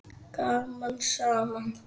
Gaman saman.